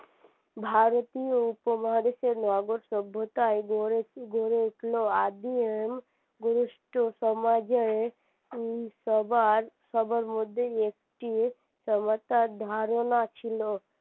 ভারতীয় উপমহাদেশের নগর সভ্যতায় গড়ে উঠলো আদিম গরিষ্ঠ সমাজের উম সবার সবার মধ্যে একটি ধারণা ছিল